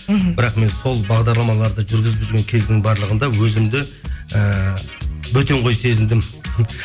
мхм бірақ мен сол бағдарламаларды жүргізіп жүрген кездің барлығында өзімді ііі бөтен қой сезіндім